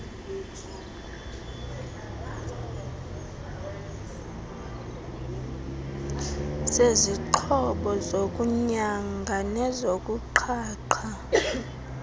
sezixhobo zokunyanga nezokuqhaqha